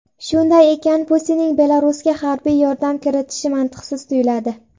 Shunday ekan, Putinning Belarusga harbiy yordam kiritishi mantiqsiz tuyuladi.